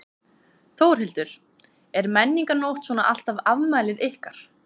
Þórhildur: Er Menningarnótt svona alltaf afmælið ykkar?